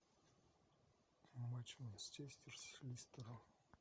матч манчестер с лестером